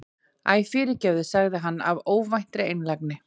Æ, fyrirgefðu- sagði hann af óvæntri einlægni.